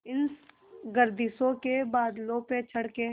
इन गर्दिशों के बादलों पे चढ़ के